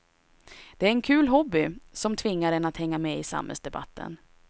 Det är en kul hobby, som tvingar en att hänga med i samhällsdebatten.